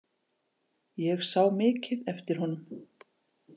Ég sá mikið eftir honum.